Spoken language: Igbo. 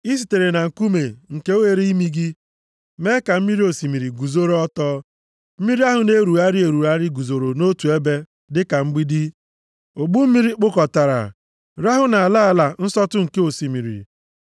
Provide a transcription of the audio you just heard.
I sitere na nkuume nke oghere imi gị, mee ka mmiri osimiri guzoro ọtọ. Mmiri ahụ na-erugharị erugharị guzoro nʼotu ebe dịka mgbidi; ogbu mmiri kpụkọtara rahụ nʼala ala nsọtụ nke osimiri.